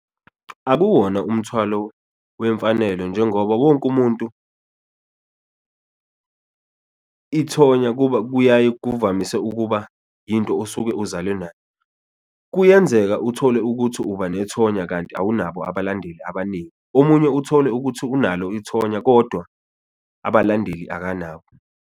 Akuwona umthwalo wemfanelo njengoba wonke umuntu ithonya kuyaye kuvamise ukuba into osuke uzalwe nayo, kuyenzeka uthole ukuthi uba nethonya kanti awunabo abalandeli abaningi, omunye uthole ukuthi unalo ithonya kodwa abalandeli akanabo.